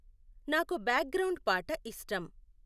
నాకు background పాట ఇష్టం